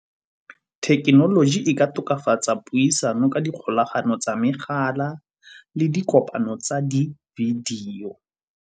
Thekenoloji e ka tokafatsa puisano ka dikgolagano tsa megala le dikopano tsa di-video.